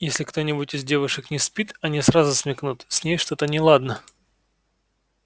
если кто-нибудь из девушек не спит они сразу смекнут с ней что-то неладно